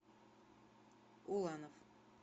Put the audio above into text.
уланов